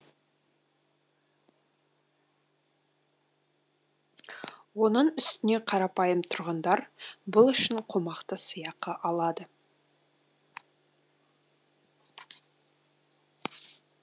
оның үстіне қарапайым тұрғындар бұл үшін қомақты сыйақы алады